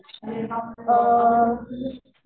अ